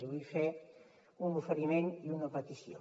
li vull fer un oferiment i una petició